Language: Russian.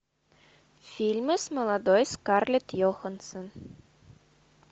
фильмы с молодой скарлетт йоханссон